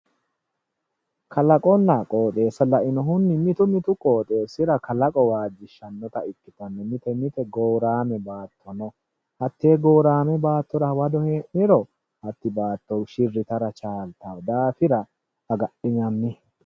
Kalaqonna qoxxeessa lainohunni mitu mitu qoxxeesira kalaqo waajjishanotta ikkittano mite mite gorame baatto no, te'e goorame baattora hawado hee'niro hatti baatto shiri yitara chalittano daafira agadhiniro woyyanno